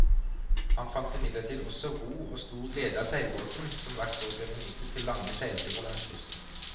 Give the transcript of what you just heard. Han fant imidlertid også ro og stor glede av seilbåten, som hvert år ble benyttet til lange seilturer langs kysten.